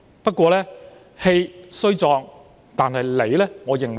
不過，我認為他氣雖壯但理不直。